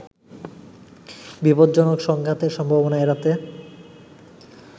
বিপজ্জনক সংঘাতের সম্ভাবনা এড়াতে